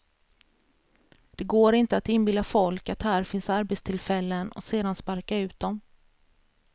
Det går inte att inbilla folk att här finns arbetstillfällen och sedan sparka ut dom.